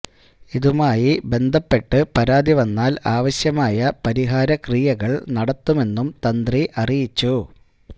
ഇതുമായി ബന്ധപ്പെട്ട് പരാതി വന്നാല് ആവശ്യമായ പരിഹാര ക്രിയകള് നടത്തുമെന്നും തന്ത്രി അറിയിച്ചു